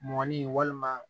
Mɔgɔnin walima